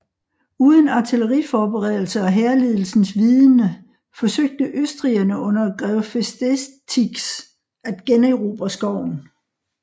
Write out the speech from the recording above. Uden artilleriforberedelse og hærledelsens vidende forsøgte østrigerne under grev Festetics at generobre skoven